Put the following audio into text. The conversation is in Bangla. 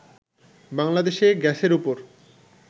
বাংলাদেশে গ্যাসের ওপর